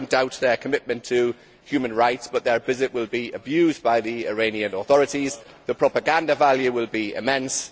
I do not doubt their commitment to human rights, but their visit will be abused by the Iranian authorities and the propaganda value will be immense.